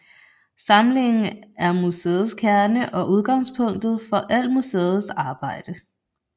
Samlingen er museets kerne og udgangspunktet for al museets arbejde